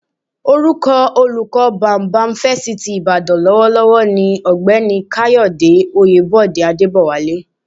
Orúkọ olóko bámúbamù Fásitì Ìbàdàn lọ́wọ́lọ́wọ́ ni Ọ̀jọ̀gbọ́n Káyọ̀dé Oyèbọ̀dé Adébọ̀wálé